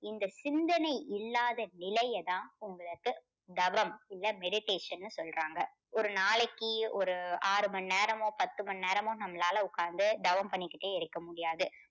இந்த சிந்தனை இல்லாத நிலையை தான் உங்களுக்கு தவம் இல்ல meditation ன்னு சொல்றாங்க. ஒரு நாளைக்கு ஒரு ஆறு மணி நேரமோ பத்து மணி நேரமோ நம்மளால உக்காந்து தவம் பண்ணிக்கிட்டே இருக்க முடியாது.